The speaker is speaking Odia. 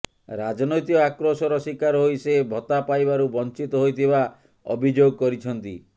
ରାଜନୈତିକ ଆକ୍ରୋଶର ଶିକାର ହୋଇ ସେ ଭତ୍ତା ପାଇବାରୁ ବଞ୍ଚିତ ହୋଇଥିବା ଅଭିଯୋଗ କରିଛନ୍ତି